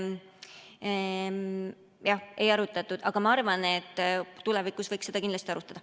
Jah, ei arutanud, aga ma arvan, et tulevikus võiks seda kindlasti arutada.